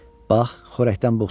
Bax, xörəkdən buğ çıxır.